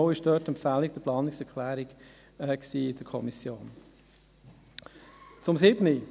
Die Empfehlung zur Annahme der Planungserklärung kam in der Kommission mit 15 zu 0 Stimmen zustande.